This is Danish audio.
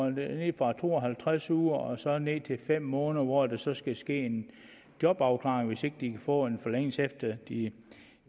fra to og halvtreds uger og så ned til fem måneder hvor der så skal ske en jobafklaring hvis ikke de får en forlængelse efter de